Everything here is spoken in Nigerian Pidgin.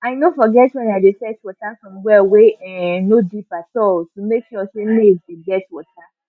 loamy soil wey um dem dey use farm use farm dey fit hold water na why e dey good even when rain no dey fall.